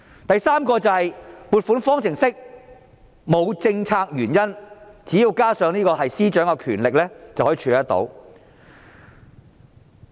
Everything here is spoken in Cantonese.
第三，撥款方程式沒有政策原因，只要加上司長的權力，便可以處理得到。